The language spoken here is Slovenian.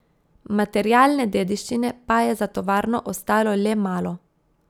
Materialne dediščine pa je za tovarno ostalo le malo.